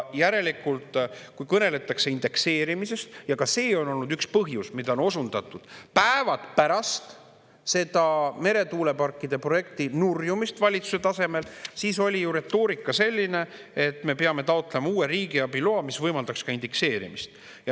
Järelikult, kui kõneldakse indekseerimisest – ka see oli üks põhjus, millele osundati päevad pärast meretuuleparkide projekti nurjumist valitsuse tasemel –, siis on ju retoorika selline, et me peame taotlema uue riigiabi loa, mis võimaldaks ka indekseerimist.